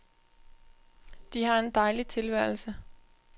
De har en dejlig tilværelse.